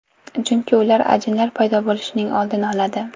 Chunki ular ajinlar paydo bo‘lishining oldini oladi.